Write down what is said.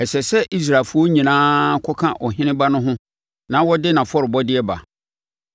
Ɛsɛ sɛ Israelfoɔ nyinaa kɔka ɔheneba no ho na ɔde nʼafɔrebɔdeɛ ba.